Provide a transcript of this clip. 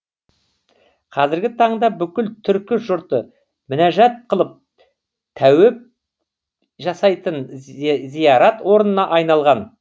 қазіргі таңда бүкіл түркі жұрты мінәжат қылып тәуіп жасайтын зиярат орнына айналған